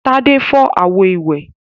Tádé fọ́ àwo-ìwẹ̀?